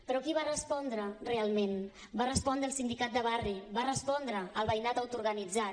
però qui va respondre realment va respondre el sindicat de barri va respondre el veïnat autoorganitzat